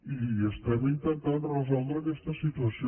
i estem intentant resoldre aquesta situació